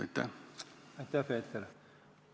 Aitäh, Peeter!